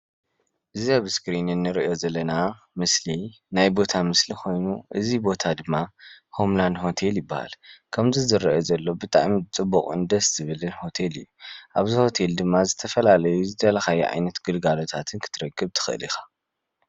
እዚ ኣብ እስክሪን እንሪኦ ዘለና ምስሊ ናይ ቦታ ምስሊ ኾይኑ እዚ ቦታ ድማ ሆም ላድ ሆቴል ይባሃል። ከምቲ ዝረአ ዘሎ ብጣዕሚ ፅቡቅን ደስ ዝብልን ሆቴል እዩ ። ኣብዚ ሆቴል ድማ ዝተፈላለዩ ዝደለካዮ ዓይነት ግልጋሎታትን ክትረክብ ትክእል ኢካ፡፡